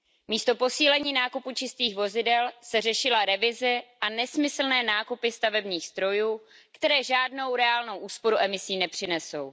Místo posílení nákupu čistých vozidel se řešila revize a nesmyslné nákupy stavebních strojů, které žádnou reálnou úsporu emisí nepřinesou.